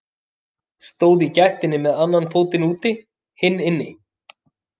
Stóð í gættinni með annan fótinn úti, hinn inni.